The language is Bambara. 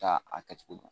Taa a kɛcogo dɔn